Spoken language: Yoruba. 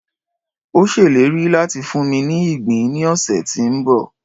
o ṣèlérí láti funmi ní ìgbín ni ọsẹ ti nbọ